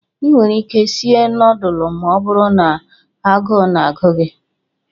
Ị nwere ike sie nọọdụlụ ma ọ bụrụ na agụụ na-agụ gị.